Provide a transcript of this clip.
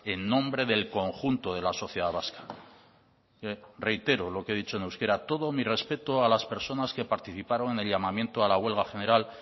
en nombre del conjunto de la sociedad vasca reitero lo que he dicho en euskera todo mi respeto a las personas que participaron en el llamamiento a la huelga general